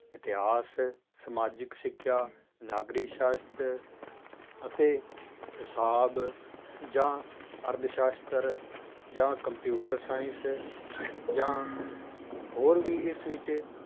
ਇਤਿਹਾਸ, ਸਮਾਜਿਕ ਸਿੱਖਿਆ, ਨਾਗਰਿਕ ਸਾਸ਼ਤਰ ਅਤੇ ਹਿਸਾਬ ਜਾਂ ਅਰਥ ਸਾਸ਼ਤਰ ਜਾਂ computer science ਜਾਂ ਹੋਰ ਵੀ ਇਸ ਵਿੱਚ